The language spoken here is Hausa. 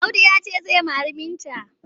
Audu ya ce zai mari Binta.